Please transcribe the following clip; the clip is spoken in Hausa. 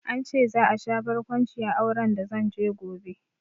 An ce za a sha barkwanci a auren da zanje gobe